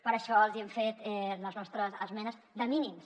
per això els hi hem fet les nostres esmenes de mínims